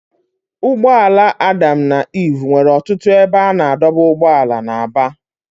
Ụgbọ ala Adam na Iv nwere ọtụtụ ebe a na-adọba ụgbọala na Aba